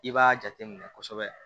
I b'a jate minɛ kosɛbɛ